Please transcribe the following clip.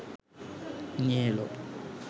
নিয়ে এলো